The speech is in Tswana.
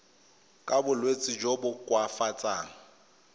ka bolwetsi jo bo koafatsang